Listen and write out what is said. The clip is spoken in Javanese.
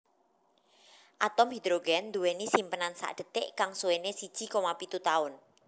Atom hidrogen duweni simpenan sakdetik kang suwene siji koma pitu taun